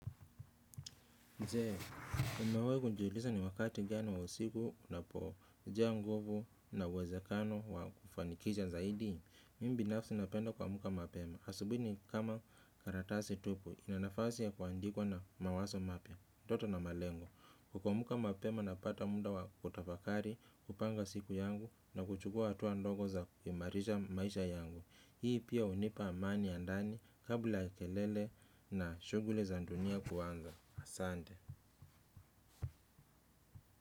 Je, wewe hujihisi ni wakati gani wa siku unapojaa nguvu na uwezekano wa kufanikisha zaidi. Mimi binafsi napenda kuamka mapema. Asubuhi nikama karatasi tupu, ina nafasi ya kuandikwa na mawazo mapya, ndoto na malengo. Kuamka mapema napata muda wa kutafakari kupanga siku yangu na kuchukua hatua ndogo za kuimarisha maisha yangu. Hii pia hunipa amani ya ndani kabla ya kelele na shughuli za dunia kuanza. Asante.